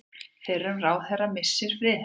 Fyrrum ráðherra missir friðhelgi